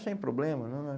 Sem problema. Não, não.